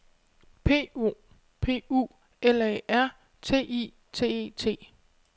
P O P U L A R T I T E T